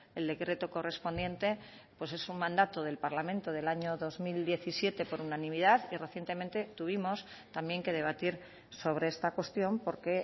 el decreto correspondiente pues es un mandato del parlamento del año dos mil diecisiete por unanimidad y recientemente tuvimos también que debatir sobre esta cuestión porque